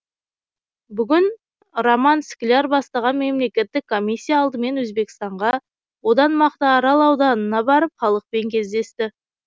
бүгін роман скляр бастаған мемлекеттік комиссия алдымен өзбекстанға одан мақтаарал ауданына барып халықпен кездесті